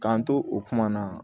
K'an to o kuma na